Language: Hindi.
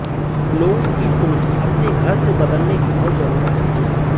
लोगों की सोच अपने घर से बदलने की बहुत जरुरत है